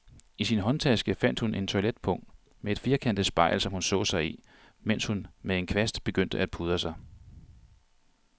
I sin håndtaske fandt hun et toiletpung med et firkantet spejl, som hun så sig i, mens hun med en kvast begyndte at pudre sig.